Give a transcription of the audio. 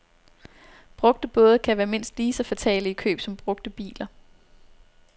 Brugte både kan være mindst lige så fatale i køb som brugte biler.